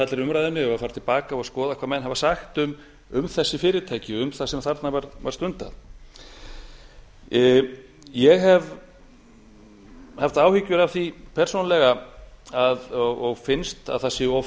allri umræðunni eigum við að fara til baka og skoða hvað menn hafa sagt um þessi fyrirtæki um það sem þarna var stundað ég hef haft áhyggjur af því persónulega og finnst að það séu of